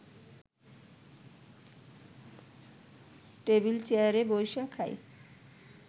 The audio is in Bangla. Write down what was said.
টেবিল চেয়ারে বইসা খায়